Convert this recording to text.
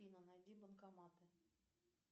афина найди банкоматы